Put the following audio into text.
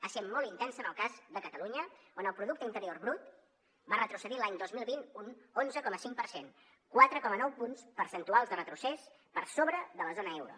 ha set molt intensa en el cas de catalunya on el producte interior brut va retrocedir l’any dos mil vint un onze coma cinc per cent quatre coma nou punts percentuals de retrocés per sobre de la zona euro